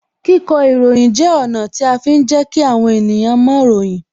Kíkọ ìròyìn jẹ́ ọ̀nà tí a fi ń jẹ kí àwọn ènìyàn moìròyìn